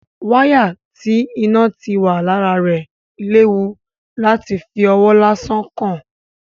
Wáyà tí iná ti wà lára rẹ̀ léwu láti fi ọwọ́ lásán kàn.